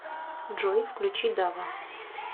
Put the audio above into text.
джой включи дава